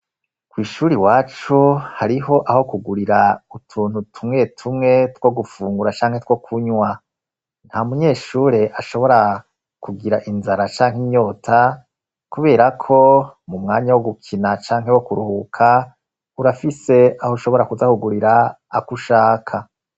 Kw'ishuri wacu hariho aho kugurira utuntu tumwe tumwe two gufungura canke two kunywa nta munyeshure ashobora kugira inzara canke inyota, kubera ko mu mwanya wo gukina canke wo kuruhuka urafise aho ushobora kudakugurira ako ushaka.